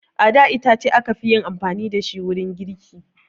A da itace aka fi yin amfani da shi wurin girki